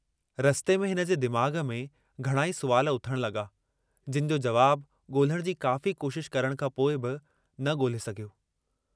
रस्ते में हिनजे दिमाग़ में घणाई सुवाल उथण लगा जिन जो जवाबु गोल्हण जी काफ़ी कोशश करण खां पोइ बि न गोल्हे सघियो।